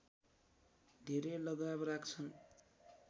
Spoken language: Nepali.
धेरै लगाव राख्छन्